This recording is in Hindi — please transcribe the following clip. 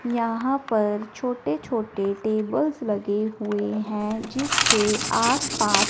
यहां पर छोटे छोटे टेबल्स लगे हुए हैं जिसके आसपास--